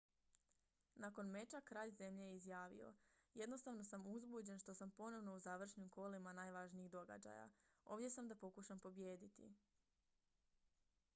"nakon meča kralj zemlje je izjavio: "jednostavno sam uzbuđen što sam ponovno u završnim kolima najvažnijih događaja. ovdje sam da pokušam pobijediti.""